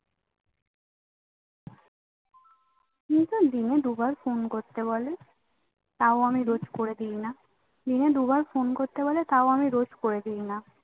দিনে দুবার ফোন করতে বলে তাও আমি রোজ করে দেই না দিনে দুবার ফোন করতে বলে তাও আমি রোজ করে দেই না